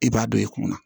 E b'a dɔn i kunna